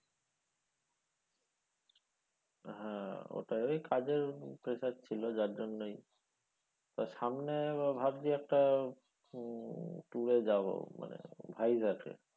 হ্যাঁ ওটা ওই কাজের pressure ছিল যার জন্যই তা সামনে ভাবছি একটা উম tour এ যাবো মানে ভাইজ্যাকে।